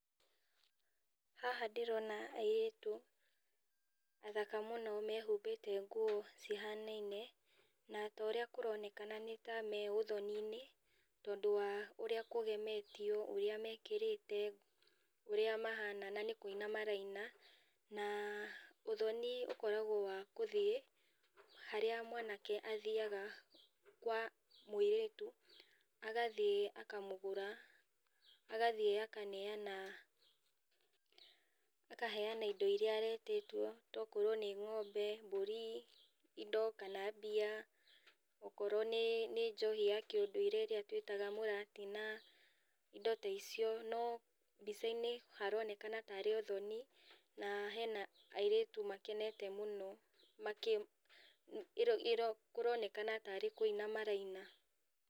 Haha ndĩrona airĩtu athaka mũno mehumbĩte nguo cihanaine na torĩa kũronekana nĩta me ũthoniinĩ tondũ wa ũrĩa kũgemetio, ũria mekĩrĩte, ũrĩa mahana na nĩkuina maraina, na ũthoni ũkoragwo wa gũthiĩ harĩa mwanake athiaga kwa mũirĩtu agathiĩ akamũgũra, agathiĩ akaneana ,akaheana indo iria aretĩtio tokorwo nĩ ng'ombe, mburi, indo kana mbia okorwo nĩ nĩ njohi ya kĩũnduire ĩrĩa twĩtaga mũratina, indo ta icio no mbicainĩ haronekana tarĩ ũthoni na hena airitu makenete mũno makĩ ĩro ĩro kũronekana tarĩ kuina maraina.